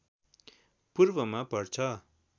पूर्वमा पर्छ